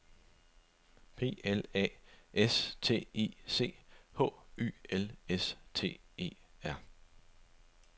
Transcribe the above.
P L A S T I C H Y L S T E R